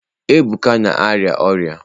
Ebuka na-arịa ọrịa.